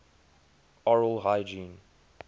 oral hygiene